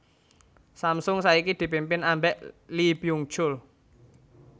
Samsung saiki dipimpin ambek Lee Byung chul